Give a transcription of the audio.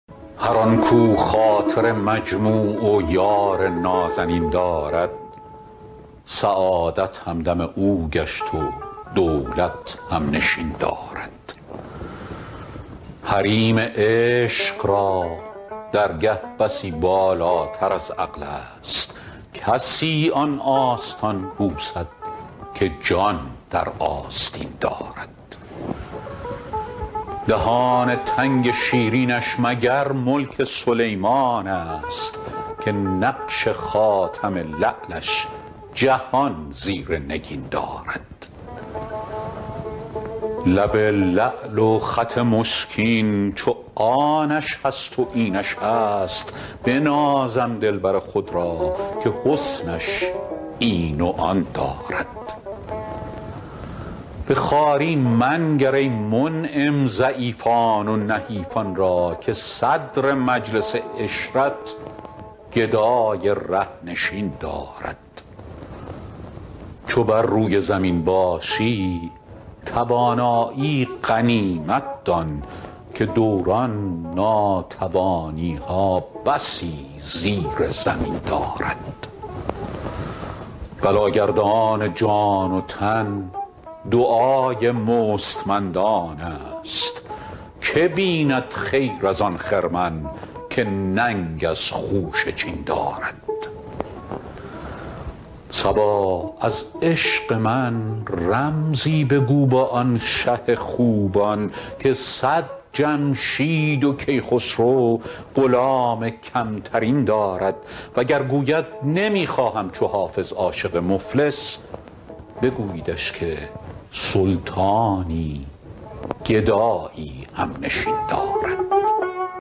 هر آن کاو خاطر مجموع و یار نازنین دارد سعادت همدم او گشت و دولت هم نشین دارد حریم عشق را درگه بسی بالاتر از عقل است کسی آن آستان بوسد که جان در آستین دارد دهان تنگ شیرینش مگر ملک سلیمان است که نقش خاتم لعلش جهان زیر نگین دارد لب لعل و خط مشکین چو آنش هست و اینش هست بنازم دلبر خود را که حسنش آن و این دارد به خواری منگر ای منعم ضعیفان و نحیفان را که صدر مجلس عشرت گدای ره نشین دارد چو بر روی زمین باشی توانایی غنیمت دان که دوران ناتوانی ها بسی زیر زمین دارد بلاگردان جان و تن دعای مستمندان است که بیند خیر از آن خرمن که ننگ از خوشه چین دارد صبا از عشق من رمزی بگو با آن شه خوبان که صد جمشید و کیخسرو غلام کم ترین دارد وگر گوید نمی خواهم چو حافظ عاشق مفلس بگوییدش که سلطانی گدایی هم نشین دارد